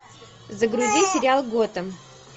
загрузи сериал готэм